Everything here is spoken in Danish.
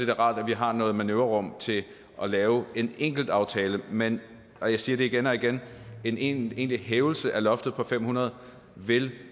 da rart at vi har noget manøvrerum til at lave en enkelt aftale men jeg siger det igen og igen en egentlig hævelse af loftet på fem hundrede vil